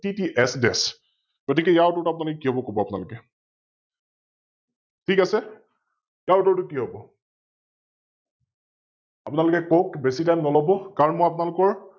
কি কি SDesh? গতিকে ইয়াৰ উত্তৰটো আপোনালোকে কি হব কব আপোনালোকে? ঠিক আছে? ইয়াৰ উত্তৰটো কি হব? আপোনালোকে কওক বেছি Time নলৱ কাৰন মই আপোনালোকৰ,